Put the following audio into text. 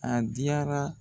A diyara.